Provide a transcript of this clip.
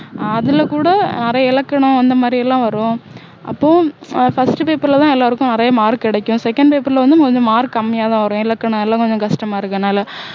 அதுல கூட நிறைய இலக்கணம் அந்தமாதிரி எல்லாம் வரும் அப்போ ஆஹ் பரீட்சை paper ல தான் எல்லாருக்கும் நிறைய mark கிடைக்கும் second paper ல வந்து கொஞ்சம் mark கம்மியா தான் வரும் இலக்கணம் எல்லாம் கொஞ்சம் கஷ்டமா இருக்கும் அதனால